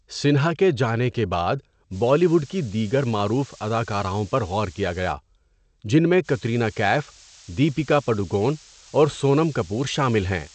سنہا کے جانے کے بعد بالی ووڈ کی دیگر معروف اداکاراؤں پر غور کیا گیا، جن میں کترینہ کیف، دیپیکا پڈوکون، اور سونم کپور شامل ہیں۔